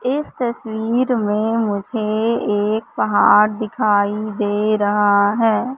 इस तस्वीर में मुझे एक पहाड़ दिखाई दे रहा है।